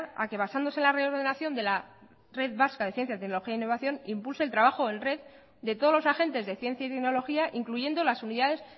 a que basándose en la reordenación de la red vasca de ciencia tecnología e innovación impulse el trabajo en red de todos los agentes de ciencia y tecnología incluyendo las unidades